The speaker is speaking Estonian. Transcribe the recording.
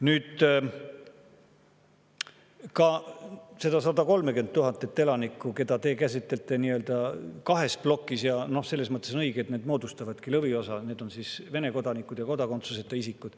Need 130 000 elanikku, keda te käsitlete nii-öelda kahes plokis – on õige, et need moodustavadki lõviosa –, on Vene kodanikud ja kodakondsuseta isikud.